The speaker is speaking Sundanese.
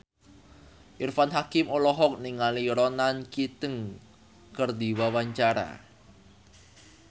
Irfan Hakim olohok ningali Ronan Keating keur diwawancara